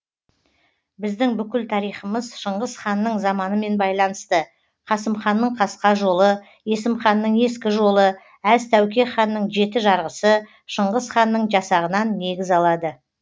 біздің бүкіл тарихымыз шыңғыс ханның заманымен байланысты қасымханның қасқа жолы есімханның ескі жолы әз тәуке ханның жеті жарғысы шыңғыс ханның жасағынан негіз алады